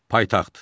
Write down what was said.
Paytaxt.